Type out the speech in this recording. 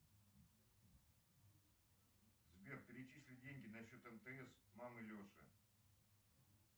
сбер перечисли деньги на счет мтс мамы леши